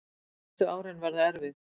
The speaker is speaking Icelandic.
Næstu árin verða erfið